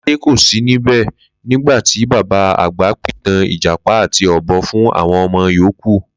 Ló̩ládé kò sí níbè̩ nígbà tí bàbá àgbà pìtàn Ìjàpá àti Ò̩bo̩ fún àwo̩n o̩mo̩ yòókù